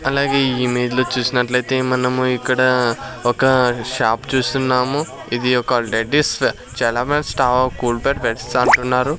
అలాగే ఈ ఇమేజ్ లో చూసినట్లయితే మనము ఇక్కడ ఒక షాప్ చూస్తున్నాము ఇది ఒక డెటిస్ చలమర్స్ స్టవ్ కూల్బెడ్ బెడ్స్ అంటున్నారు.